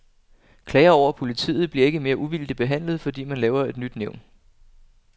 Klager over politiet bliver ikke mere uvildigt behandlet, fordi man laver et nyt nævn.